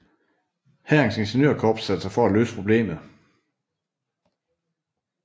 Hærens ingeniørkorps satte sig for at løse problemet